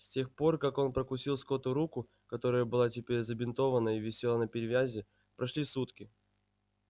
с тех пор как он прокусил скотту руку которая была теперь забинтована и висела на привязи прошли сутки